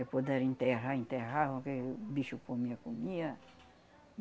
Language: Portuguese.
Quem puderam enterrar, enterravam, quem bicho comia, comia.